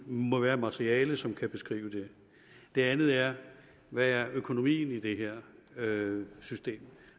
må være materiale som kan beskrive det det andet er hvad er økonomien i det her system